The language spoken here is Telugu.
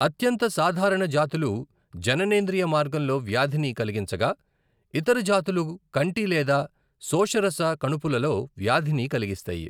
అత్యంత సాధారణ జాతులు జననేంద్రియ మార్గంలో వ్యాధిని కలిగించగా, ఇతర జాతులు కంటి లేదా శోషరస కణుపులలో వ్యాధిని కలిగిస్తాయి.